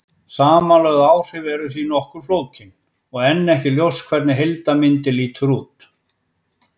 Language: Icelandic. Samanlögð áhrif eru því nokkuð flókin og enn ekki ljóst hvernig heildarmyndin lítur út.